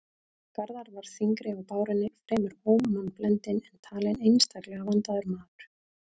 Garðar var þyngri á bárunni, fremur ómannblendinn, en talinn einstaklega vandaður maður.